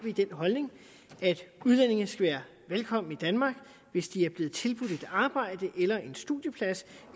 den holdning at udlændinge skal være velkomne i danmark hvis de er blevet tilbudt et arbejde eller en studieplads